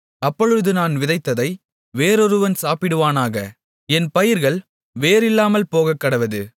அப்பொழுது நான் விதைத்ததை வேறொருவன் சாப்பிடுவானாக என் பயிர்கள் வேர் இல்லாமல் போகக்கடவது